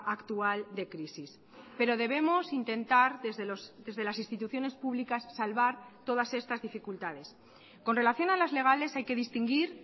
actual de crisis pero debemos intentar desde las instituciones públicas salvar todas estas dificultades con relación a las legales hay que distinguir